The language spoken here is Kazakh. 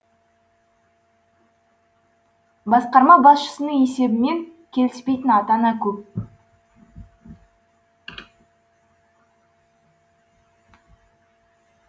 басқарма басшысының есебімен келіспейтін ата ана көп